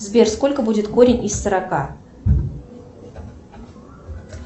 сбер сколько будет корень из сорока